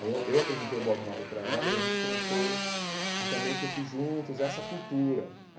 Aí eu eu apresentei o Bob Marley para ela e a gente começou a também curtir juntos essa cultura.